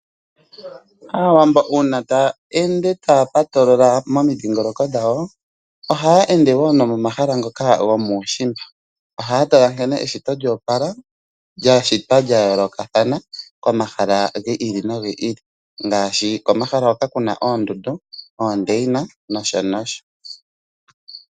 Aawambo uuna taya ende taya patolola momidhingoloko dhawo ohaya ende wo nomomahala ngoka gomuushimba. Ohaya tala nkene eshito lyo opala lya shitwa lya yoolokathana komahala gi ili nogi ili ngaashi komahala hoka ku na oondundu, oondaina nosho tuu.